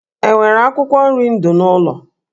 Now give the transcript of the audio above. E nwere akwụkwọ nri ndụ n'ụlọ?